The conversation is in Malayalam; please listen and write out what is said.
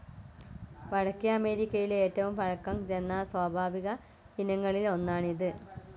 വടക്കേ അമേരിക്കയിലെ ഏറ്റവും പഴക്കം ചെന്ന സ്വാഭാവിക ഇനങ്ങളിൽ ഒന്നാണ് ഇത്.